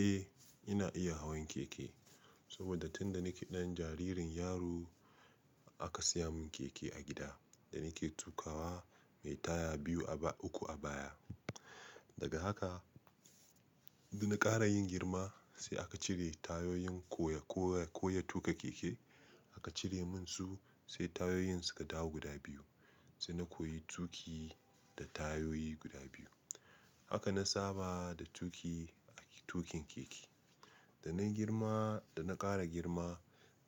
Eh ina iya hawan keke, saboda tun da nike ɗan jaririn yaro aka siya mun keke a gida da nike tukawa mai taya biyu a ba uku a baya. Daga haka, da na ƙara yin girma sai aka cire tayoyin koya, koya, koya tuƙa keke aka cire mun su sai tayoyin suka dawo guda biyu. Sai na koyi tuƙi da tayoyi guda biyu. Haka na saba da tuƙi a tuƙin keke. Da na girma, da na ƙara girma